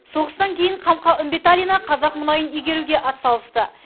соғыстан кейін қамқа үмбеталина қазақ мұнайын игеруге атсалысты